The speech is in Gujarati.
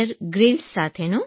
બેયર ગ્રીલ્સ સાથે